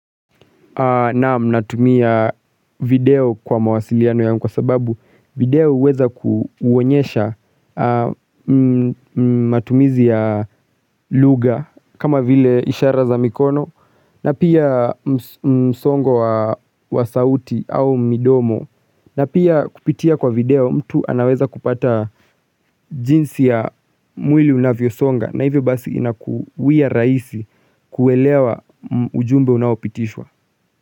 Naam, natumia video kwa mawasiliano yangu kwa sababu video huweza kuonyesha matumizi ya lugha kama vile ishara za mikono na pia msongo wa sauti au midomo na pia kupitia kwa video mtu anaweza kupata jinsi ya mwili unavyosonga na hivyo basi inakuwia raisi kuelewa ujumbe unaopitishwa.